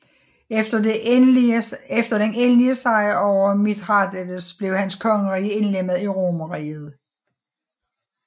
Efter den endelige sejr over Mithradates blev hans kongerige indlemmet i Romerriget